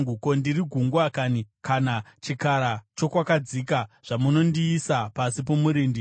Ko, ndiri gungwa kanhi, kana chikara chokwakadzika, zvamunondiisa pasi pomurindi?